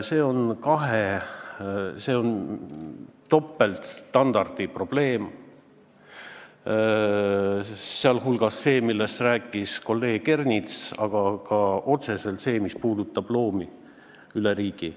See on topeltstandardi probleem, sh see, millest rääkis kolleeg Ernits, aga ka otseselt see, mis puudutab loomi üle riigi.